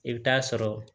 I bɛ taa sɔrɔ